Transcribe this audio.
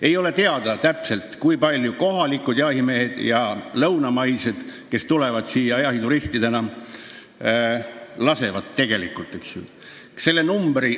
Ei ole täpselt teada, kui palju kohalikud jahimehed ja lõunamaised jahimehed, kes siia jahituristidena tulevad, tegelikult linde lasevad.